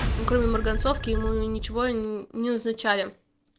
ну кроме марганцовки ему ничего не назначали